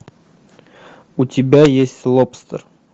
у тебя есть лобстер